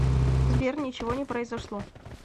сбер ничего не произошло